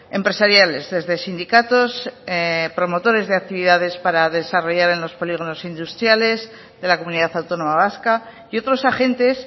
empresariales desde sindicatos promotores de actividades para desarrollar en los polígonos industriales de la comunidad autónoma vasca y otros agentes